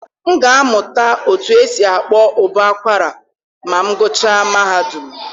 M ga-amụta otú e si akpọ ụbọ akwara ma m gụchaa mahadum.